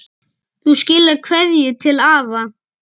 Þú skilar kveðju til afa.